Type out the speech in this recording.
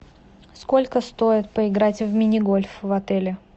сколько стоит поиграть в мини гольф в отеле